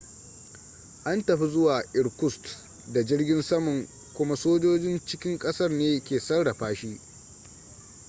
an tafi zuwa irkutsk da jirgin saman kuma sojojin cikin ƙasar ne ke sarrafa shi